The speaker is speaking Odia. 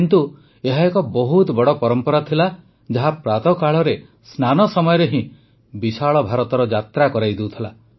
କିନ୍ତୁ ଏହା ଏକ ବହୁତ ବଡ଼ ପରମ୍ପରା ଥିଲା ଯାହା ପ୍ରାତଃକାଳରେ ସ୍ନାନ ସମୟରେ ହିଁ ବିଶାଳ ଭାରତର ଯାତ୍ରା କରାଇ ଦେଉଥିଲା